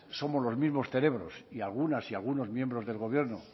somos los mismos cerebros y algunas y algunos miembros del gobierno